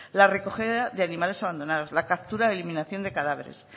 la recogida de animales abandonados la captura de eliminación de cadáveres